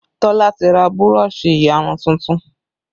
Tola ti ra burọ̀ṣì ìyarun tuntun